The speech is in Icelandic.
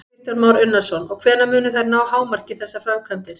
Kristján Már Unnarsson: Og hvenær munu þær ná hámarki, þessar framkvæmdir?